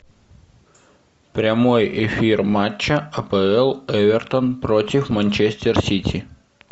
прямой эфир матча апл эвертон против манчестер сити